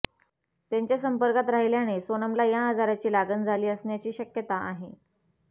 त्याच्या संपर्कात राहिल्याने सोनमला या आजाराची लागण झाली असण्याची शक्यता आहे